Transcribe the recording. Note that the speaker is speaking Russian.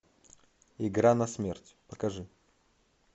игра на смерть покажи